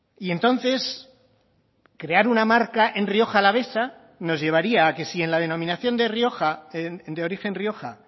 y entonces crear una marca en rioja alavesa nos llevaría a que si en la denominación de rioja de origen rioja